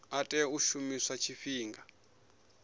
a tea u shumiswa tshifhinga